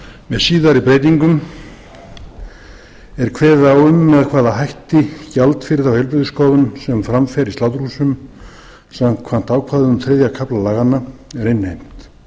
með síðari breytingum er kveðið á um með hvaða hætti gjald fyrir þá heilbrigðisskoðun sem fram fer í sláturhúsum samkvæmt ákvæðum þriðja kafla laganna er innheimt